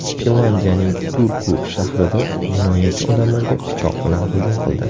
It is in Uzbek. Finlyandiyaning Turku shahrida jinoyatchi odamlarga pichoq bilan hujum qildi.